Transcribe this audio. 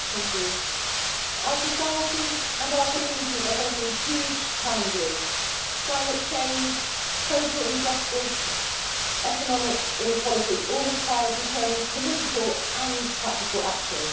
Madam President, our societies and our communities are facing huge challenges. Climate change, social injustice, economic inequality all require determined political and practical action.